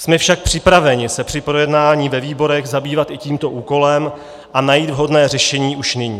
Jsme však připraveni se při projednávání ve výborech zabývat i tímto úkolem a najít vhodné řešení už nyní.